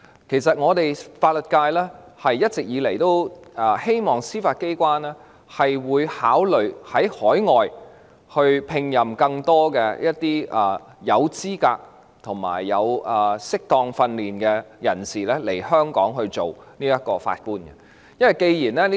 其實，法律界一直以來都希望司法機關考慮從海外聘請更多具備資格及曾接受適當訓練的人士來港擔任法官。